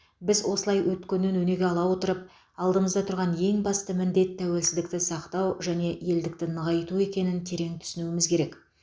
біз осылай өткеннен өнеге ала отырып алдымызда тұрған ең басты міндет тәуелсіздікті сақтау және елдікті нығайту екенін терең түсінуіміз керек